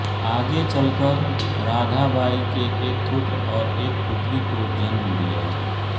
आगे चलकर राधाबाई ने एक पुत्र और एक पुत्री को जन्म दिया